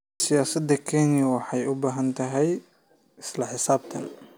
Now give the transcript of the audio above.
Siyaasadda Kenya waxay u baahan tahay isla xisaabtan.